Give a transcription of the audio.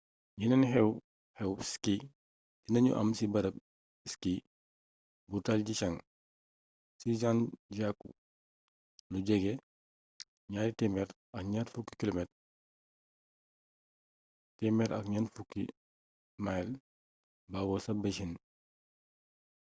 yeneen xew-xew ski dina ñu am ci barab ski bu taizicheng ci zhangjiakou lu jege 220 km 140 mil bawoo ca beijing